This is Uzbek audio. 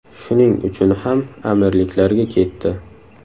Shuning uchun ham Amirliklarga ketdi.